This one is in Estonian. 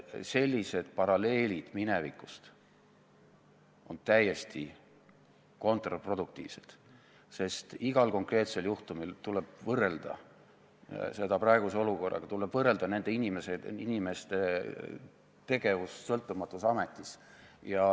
Sellised paralleelid minevikust on täiesti kontraproduktiivsed, sest igal konkreetsel juhtumil tuleb võrrelda seda praeguse olukorraga, tuleb võrrelda nende inimeste tegevust sõltumatus ametis.